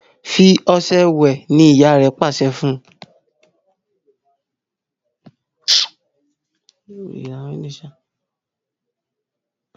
fí ọṣẹ wẹ! ní ìyá rẹ pàṣẹ fún!